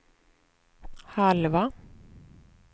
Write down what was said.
halva